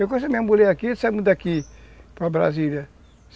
Eu conheci a minha mulher aqui, saímos daqui para Brasília.